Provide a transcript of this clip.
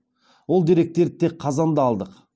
ол деректерді тек қазанда алдық